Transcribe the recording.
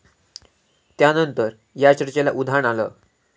त्यानंतर या चर्चेला उधाण आलं.